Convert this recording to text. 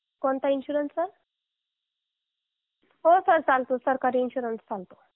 कोणता insurance sir हो sir सरकारी इन्शुरन्स चालतो